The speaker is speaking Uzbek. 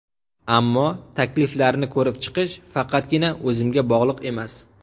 Ammo takliflarni ko‘rib chiqish faqatgina o‘zimga bog‘liq emas.